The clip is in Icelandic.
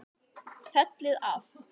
Fellið af.